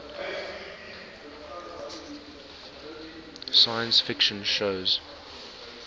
science fiction shows